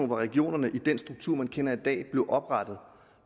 hvor regionerne i den struktur vi kender i dag blev oprettet